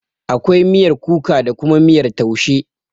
Akwai miyar kuka da kuma miyar taushe.